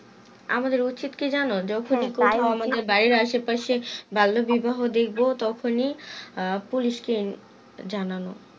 আমাদের উচিত কি যেন যখন বাড়ির আসে পাশে বাল্য বিবাহ দেখবো তখনি police কে জানা